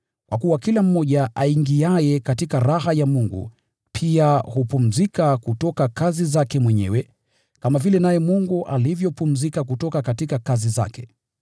kwa kuwa kila mmoja aingiaye katika raha ya Mungu pia hupumzika kutoka kazi zake mwenyewe, kama vile Mungu alivyopumzika kutoka kazi zake.